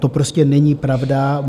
To prostě není pravda.